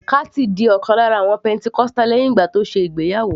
Kathy di ọ̀kan lára àwọn pentecostal lẹ́hìn ìgbà tó ṣe ìgbéyàwó